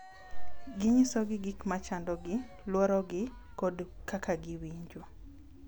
Ginyisogi gik ma chandogi, luorogi, kod kaka giwinjo.